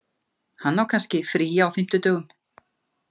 Hann á kannski frí á fimmtudögum.